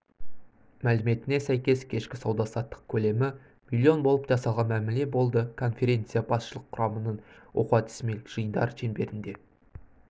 мәліметіне сәйкес кешкі сауда-саттық көлемі миллион болып жасалған мәміле болды конференция басшылық құрамының оқу-әдістемелік жиындары шеңберінде